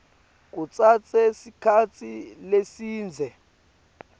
kutsatse sikhatsi lesidze